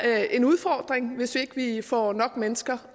en udfordring hvis ikke vi får nok mennesker